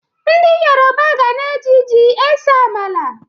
Ndị Yoroba ga na-eji ji ese amala.